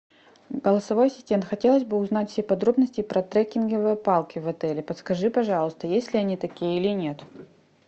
голосовой ассистент хотелось бы узнать все подробности про треккинговые палки в отеле подскажи пожалуйста есть ли они такие или нет